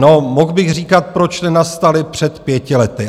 No, mohl bych říkat, proč nenastaly před pěti lety.